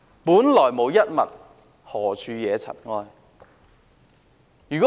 本來無一物，何處惹塵埃？